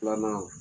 Filanan